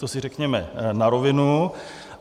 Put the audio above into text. To si řekněme na rovinu.